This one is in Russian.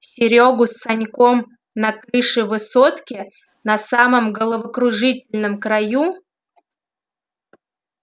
серёгу с саньком на крыше высотки на самом головокружительном краю